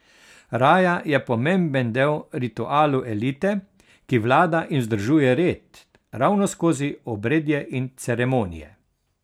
Raja je pomemben del ritualov elite, ki vlada in vzdržuje red, ravno skozi obredje in ceremonije.